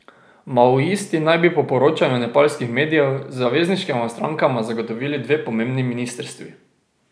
Maoisti naj bi po poročanju nepalskih medijev zavezniškima strankama zagotovili dve pomembni ministrstvi.